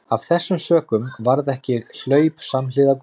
Af þessum sökum varð ekki hlaup samhliða gosinu.